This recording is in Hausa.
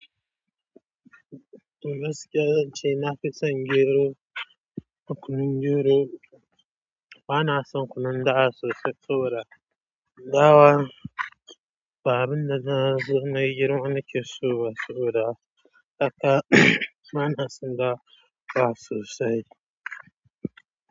To gaskiya zance nafi son gero, da kunun gero bana son kunun dawa sosai saboda. Dawa ba abin da na zo nayi girman nake so ba soboda haka bana son dawa sosai.